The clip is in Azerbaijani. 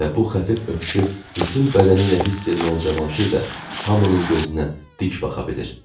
Və bu xəfif öpüşü bütün bədəni ilə hiss eləyən Cavanşir də hamının gözünə dik baxa bilir.